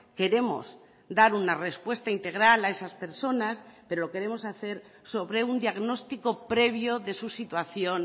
queremos dar una respuesta integral a esas personas pero lo queremos hacer sobre un diagnóstico previo de su situación